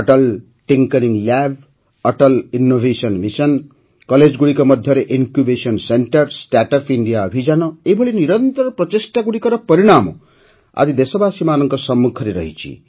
Atal tinkering lab Atal innovation mission କଲେଜଗୁଡ଼ିକ ମଧ୍ୟରେ incubation centre startup India ଅଭିଯାନ ଏଭଳି ନିରନ୍ତର ପ୍ରଚେଷ୍ଟାଗୁଡ଼ିକର ପରିଣାମ ଆଜି ଦେଶବାସୀମାନଙ୍କ ସମ୍ମୁଖରେ ରହିଛି